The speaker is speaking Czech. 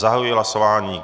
Zahajuji hlasování.